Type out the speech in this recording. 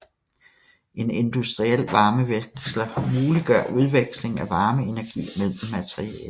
En industriel varmeveksler muliggør udveksling af varmeenergi mellem materialer